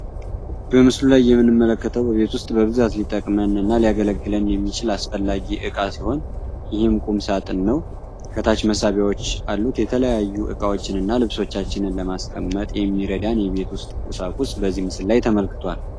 በምስሉ ላይ የምንመለከተው በቤት ውስጥ በብዛት ሊጠቅመን እና ሊያገለግለን የሚችል አስፈላጊ አቃ ሲሆን ይህም ቁም ሳጥን ነው። ከታች መሳቢያወች አሉት የተለያዩ እቃዎችን እና ልብሶቻችንን ለማስቀመጥ የሚያገለግለን የቤት ውስጥ ቁሳቁስ በምስሉ ላይ ተመልክቷል።